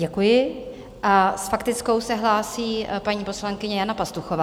Děkuji a s faktickou se hlásí paní poslankyně Jana Pastuchová.